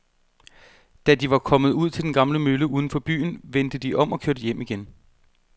Da de var kommet ud til den gamle mølle uden for byen, vendte de om og kørte hjem igen.